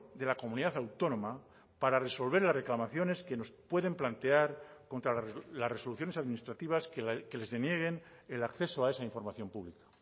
de la comunidad autónoma para resolver las reclamaciones que nos pueden plantear contra las resoluciones administrativas que les denieguen el acceso a esa información pública